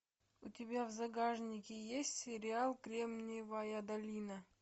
у тебя в загашнике есть сериал кремниевая долина